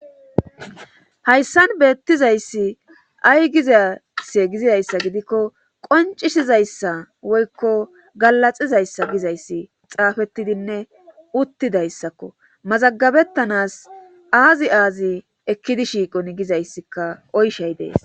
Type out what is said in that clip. hayssan beettizayssi ay gizasse gizizayssa gidikko qoncisizayssa woykko galaxizayssa gizayssi xaafettidinne uttidayssakko mazagabettanas aazi aazi ekkidi shiiqoni gizayssikka oyshay dees